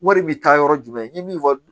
Wari bɛ taa yɔrɔ jumɛn ni min fɔ